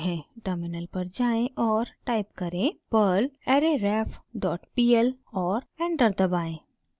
terminal पर वापस जाएँ और टाइप करें: perl arrayref डॉट pl और एंटर दबाएं